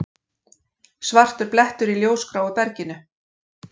Svartur blettur í ljósgráu berginu.